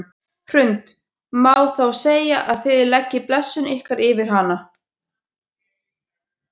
Hrund: Má þá segja að þið leggið blessun ykkar yfir hana?